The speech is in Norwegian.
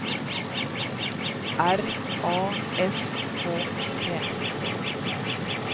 R A S K T